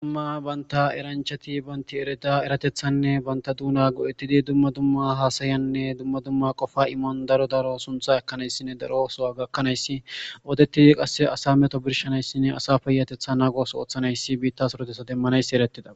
dumma banta eranchati banti ereda eratethanne banta duuna go7ettidi dumma dumma haasayanne dumma dumma qofa imon daro daro suntha ekanayssinne daro osowa gakkanayssi oodettidi qasse asa meto birshanayssinne asa peyatetha naagoso ooththanayssi biitta sorotesa demmanayssi erettida